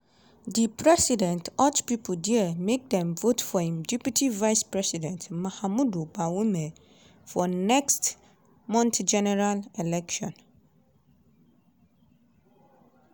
di president urge pipo dia make dem vote for im deputy vice-president mahamudu bawumia for next month general election.